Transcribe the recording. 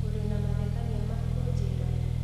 ũrĩ na mathekania ma kũnjĩra